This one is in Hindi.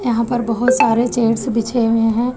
वहा पर बहुत सारे चेयर्स बिछे हुए है।